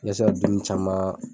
i bɛ se ka dumuni caman